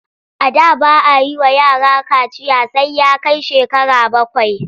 A da ba a yi wa yara kaciya sai ya kai shekara bakwai.